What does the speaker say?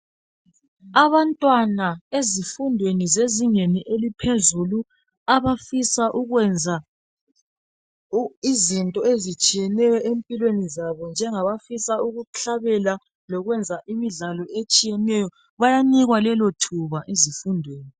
Abantwana ezifundweni zezingeni eliphezulu abafisa ukwenza izinto ezitshiyeneyo empilweni zabo njengabafisa ukuhlabela lokwenza imidlalo etshiyeneyo bayanikwa lelo thuba ezifundweni.